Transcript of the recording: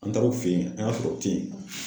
An taara u fe yen, an y'a sɔrɔ u te yen nɔ.